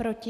Proti?